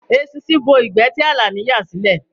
Eṣinṣin bo ìgbẹ́ ti Àlàní yà sílẹ̀